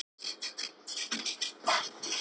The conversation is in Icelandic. Nýbjörg, hvaða vikudagur er í dag?